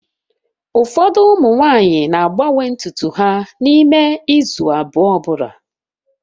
Ụfọdụ ụmụ nwanyị na-agbanwe ntutu ha n'ime izu abụọ ọ bụla